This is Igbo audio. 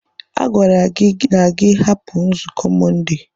A gwara gị na gị hapụ nzukọ Mọnde.